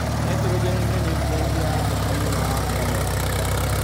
Naitrogeni niĩ niutrienti ya bata mũno ha ngano gũkũra.